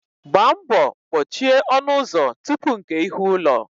Gba mbọ kpochie ọnụ ụzọ tupu nkè ihu ụlọ